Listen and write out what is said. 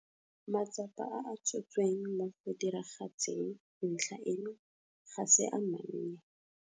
Matsapa a a tshotsweng mo go diragatseng ntlha eno ga se a mannye.